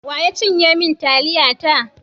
Wa ya cinye min taliyata?